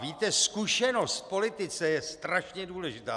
Víte, zkušenost v politice je strašně důležitá.